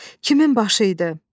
Kimin başı idi?